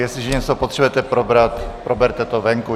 Jestliže něco potřebujete probrat, proberte to venku.